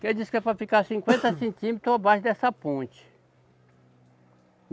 Que diz que é para ficar cinquenta centímetros abaixo dessa ponte.